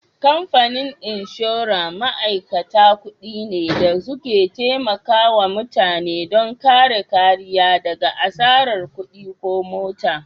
Kamfanin inshora ma'aikata kuɗi ne da suke taimakawa mutane don kare kariya daga asarar kuɗi ko mutuwa.